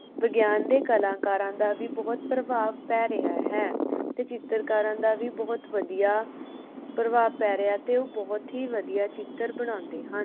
ਵਿਗਿਆਨ ਦੇ ਕਲਾਕਾਰਾਂ ਦਾ ਵੀ ਬੋਹੋਤ ਪ੍ਰਭਾਵ ਪੈ ਰਿਹਾ ਹੈ ਤੇ ਚਿੱਤਰਕਾਰਾਂ ਦਾ ਵੀ ਬੋਹੋਤ ਵਧੀਆ ਪ੍ਰਭਾਵ ਪੈ ਰਿਹਾ ਤੇ ਉਹ ਬੋਹੋਤ ਹੀ ਵਧੀਆ ਚਿੱਤਰ ਬਣਾਉਂਦੇ ਹਨ